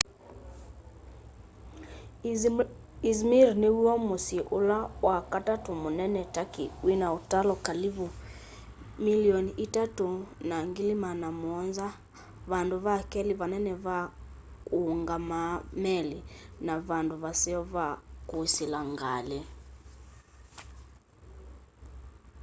izmir nĩ wyo mũsyĩ ũlala wakatatũ mũnene tũrkey wĩna ũtalo kalĩvũ 3.7 mĩlĩonĩ vandũ vakelĩ vanene va ũngamaa meli na vandũ vaseo va kũsĩla ngalĩ